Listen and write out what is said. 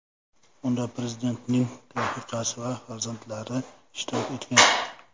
Unda prezidentning rafiqasi va farzandlari ishtirok etgan.